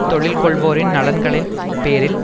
தொழில் கொள்வோரின் நலன்களின் பேரில்